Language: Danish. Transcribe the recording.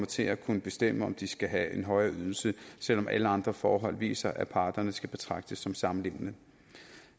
til at kunne bestemme om de skal have en højere ydelse selv om alle andre forhold viser at parterne skal betragtes som samlevende